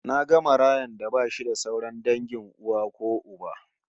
Naga marayan da bashi da sauran dangin uwa ko uba